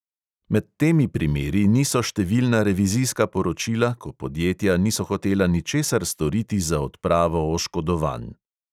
Med temi primeri niso številna revizijska poročila, ko podjetja niso hotela ničesar storiti za odpravo oškodovanj.